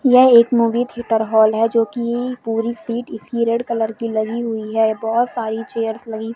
यह एक movie theatre hall है जोकि पूरी सीट इसकी रेड कलर की लगी हुई है बहुत सारी चेयर्स लगी --